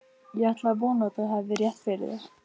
Ég ætla að vona, að þú hafir rétt fyrir þér